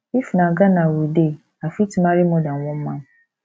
if na for ghana we dey i fit marry more than than one man